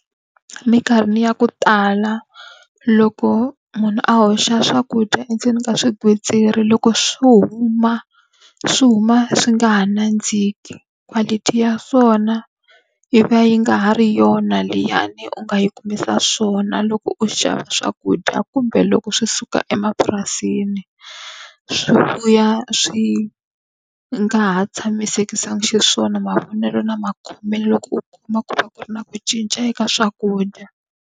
Minkarhi ni ya ku tala loko munhu a hoxa swakudya endzeni ka swigwitsirisi loko swi huma, swi huma swi nga ha nandziki. Quality ya swona yi va yi nga ha ri yona liyani u nga yi kumisa swona loko u xava swakudya kumbe loko swi suka emapurasini. Swi vuya swi nga ha tshamisekanga xiswona mavonelo na makhomele loko u kuma ku va ku ri na ku cinca eka swakudya.